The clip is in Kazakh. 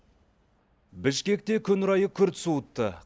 бішкекте күн райы күрт суытты